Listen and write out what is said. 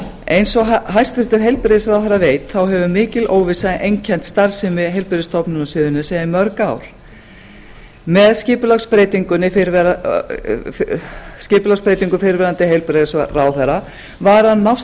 eins og hæstvirtur heilbrigðisráðherra veit þá hefur mikil óvissa einkennt starfsemi heilbrigðisstofnunar suðurnesja í mörg ár með skipulagsbreytingu fyrrverandi heilbrigðisráðherra var að nást